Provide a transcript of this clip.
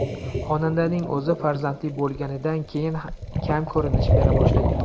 Xonandaning o‘zi farzandli bo‘lganidan keyin kam ko‘rinish bera boshlagan.